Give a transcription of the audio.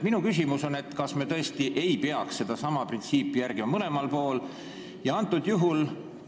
Minu küsimus on, kas me tõesti ei peaks sedasama printsiipi järgima mõlemal pool, nii kohalikus omavalitsuses, aga ka riigis ja Riigikogu tasandil.